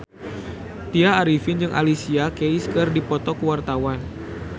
Tya Arifin jeung Alicia Keys keur dipoto ku wartawan